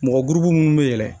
Mɔgɔ gurupu minnu bɛ yɛlɛn